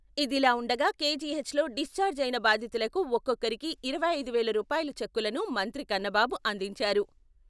ఇదిలా ఉండగా KGH discharge అయిన బాధితులకు ఒక్కొక్కరికీ ఇరవై ఐదు వేల రూపాయల చెక్కులను మంత్రి కన్నబాబు అందించారు.